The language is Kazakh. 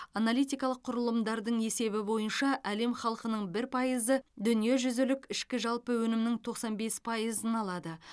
аналитикалық құрылымдардың есебі бойынша әлем халқының бір пайызы дүниежүзілік ішкі жалпы өнімнің тоқсан бес пайызын алады